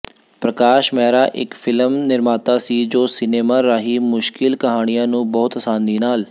ਪ੍ਰਕਾਸ਼ ਮਹਿਰਾ ਇੱਕ ਫਿਲਮ ਨਿਰਮਾਤਾ ਸੀ ਜੋ ਸਿਨੇਮਾ ਰਾਹੀਂ ਮੁਸ਼ਕਿਲ ਕਹਾਣੀਆਂ ਨੂੰ ਬਹੁਤ ਅਸਾਨੀ ਨਾਲ